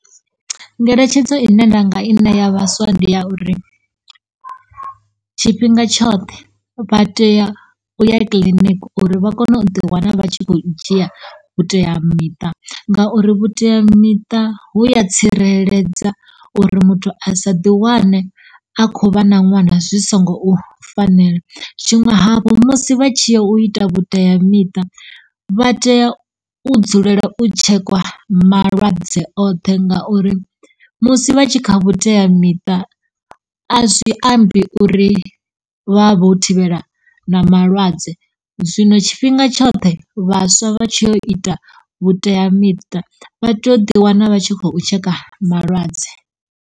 Ngeletshedzo ine nda nga i ne ya vhaswa ndi ya uri tshifhinga tshoṱhe vha teya u ya kiḽiniki uri vha kone u ḓi wana vha tshi khou dzhia vhuteamiṱa ngauri vhuteamiṱa hu ya tsireledza uri muthu a sa ḓi wane a kho vha na ṅwana zwi songou fanela. Tshiṅwe hafhu musi vha tshiyo u ita vhuteamiṱa vha tea u dzulela u tshekwa malwadze oṱhe ngauri musi vha tshi kha vhuteamiṱa a zwi ambi uri vha vho thivhela na malwadze zwino tshifhinga tshoṱhe vhaswa vha tshi yo ita vhuteamiṱa vha teya u ḓi wana vha tshi kho tsheka malwadze.